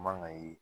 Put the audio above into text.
Man ka ye